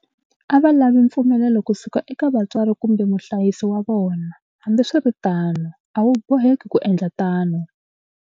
A va lavi mpfumelelo kusuka eka vatswari kumbe muhlayisi wa vona. Hambiswiritano, a wu boheki ku endla tano.